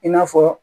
I n'a fɔ